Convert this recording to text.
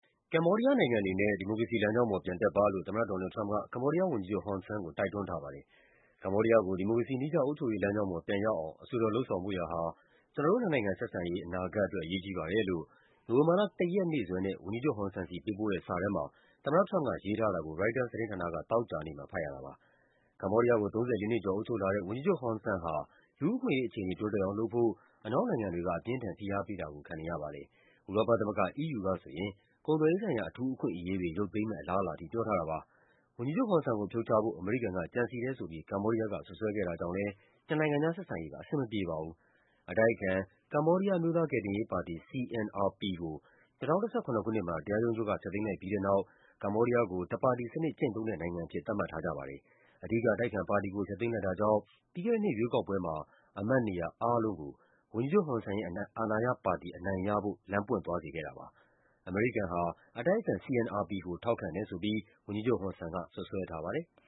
ကမ္ဘောဒီးယားနိုင်ငံအနေနဲ့ ဒီမိုကရေစီလမ်းကြောင်းပေါ် ပြန်တက်ပါလို့ သမ္မတ ဒေါ်နယ်လ်ဒ် ထရမ့်က ကမ္ဘောဒီးယားဝန်ကြီးချုပ် ဟွန်ဆန်ကို တိုက်တွန်းထားပါတယ်။ “ကမ္ဘောဒီးယားကို ဒီမိုကရေစီနည်းကျ အုပ်ချုပ်ရေးလမ်းကြောင်းပေါ် ပြန်ရောက်အောင် အဆွေတော် လုပ်ဆောင်ဖို့ရာဟာ ကျနော်တို့ နှစ်နိုင်ငံဆက်ဆံရေး အနာဂတ်အတွက် အရေးကြီးပါတယ်” လို့ နိုဝင်ဘာလ ၁ ရက်နေ့စွဲနဲ့ ဝန်ကြီးချုပ်ဟွန်ဆန်ဆီ ပေးပို့တဲ့စာထဲမှာ သမ္မတထရမ့်ပ်က ရေးထားတာကို ရိုက်တာသတင်းဌာနက သောကြာနေ့မှာ ဖတ်ရတာပါ။ ကမ္ဘောဒီးယားကို ၃၄ နှစ်ကျော် အုပ်ချုပ်လာတဲ့ ဝန်ကြီးချုပ်ဟွန်ဆန်ဟာ လူူ့အခွင့်အရေးအခြေအနေ တိုးတက်အောင်လုပ်ဖို့ အနောက်နိုင်ငံတွေက အပြင်းအထန် ဖိအားပေးတာကို ခံနေရပါတယ်။ ဥရောပသမဂ္ဂ EU ကဆိုရင် ကုန်သွယ်ရေးဆိုင်ရာ အထူး အခွင့်အရေးတွေ ရုပ်သိမ်းမယ့်အလားအလာထိ ပြောထားတာပါ။ ဝန်ကြီးချုပ်ဟွန်ဆန်ကို ဖြုတ်ချဖို့ အမေရိကန်က ကြံစည်တယ်ဆိုပြီး ကမ္ဘောဒီးယားက စွပ်စွဲခဲ့တာကြောင့်လည်း နှစ်နိုင်ငံကြား ဆက်ဆံရေးက အဆင်မပြေပါဘူး။ အတိုက်အခံ ကမ္ဘောဒီးယား အမျိုးသားကယ်တင်ရေးပါတီ (CNRP) ကို ၂၀၁၇ ခုနှစ်မှာ တရားရုံးချုပ်က ဖျက်သိမ်းလိုက်ပြီးတဲ့ နောက် ကမ္ဘောဒီးယားကို တပါတီစနစ်ကျင့်သုံးတဲ့နိုင်ငံအဖြစ် သတ်မှတ်ထားကြပါတယ်။ အဓိက အတိုက်အခံပါတီကို ဖျက်သိမ်း လိုက်တာကြောင့် ပြီးခဲ့တဲ့နှစ်ရွေးကောက်ပွဲမှာ အမတ်နေရာအားလုံးကို ဝန်ကြီးချုပ်ဟွန်ဆန်ရဲ့ အာဏာရပါတီ အနိုင်ရဖို့ လမ်းပွင့် သွားစေခဲ့တာပါ။ အမေရိကန်က အတိုက်အခံ CNRP ကို ထောက်ခံတယ်ဆိုပြီး ဝန်ကြီးချုပ်ဟွန်ဆန်က စွပ်စွဲထားပါတယ်။